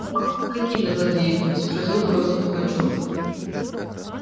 какими злодеями спросил грозно пугачёв